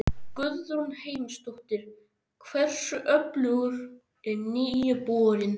Guðrún Heimisdóttir: Hversu öflugur er nýi borinn?